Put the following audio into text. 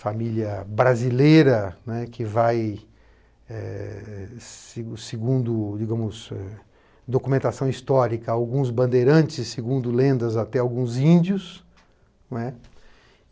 Família brasileira, né que vai, eh eh se segundo digamos eh documentação histórica, alguns bandeirantes, segundo lendas, até alguns índios, né.